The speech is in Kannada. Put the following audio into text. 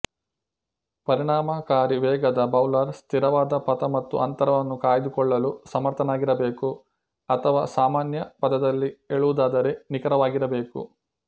ಪರಿಣಾಮಕಾರಿ ವೇಗದ ಬೌಲರ್ ಸ್ಥಿರವಾದ ಪಥ ಮತ್ತು ಅಂತರವನ್ನು ಕಾಯ್ದುಕೊಳ್ಳಲು ಸಮರ್ಥನಾಗಿರಬೇಕು ಅಥವಾ ಸಾಮಾನ್ಯ ಪದದಲ್ಲಿ ಹೇಳುವುದಾದರೆ ನಿಖರವಾಗಿರಬೇಕು